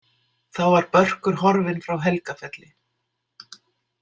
Þá var Börkur horfinn frá Helgafelli.